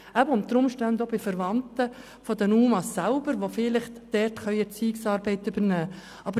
Die Unterbringung kann unter Umständen auch bei den Verwandten der UMA stattfinden, die vielleicht Erziehungsarbeit übernehmen können.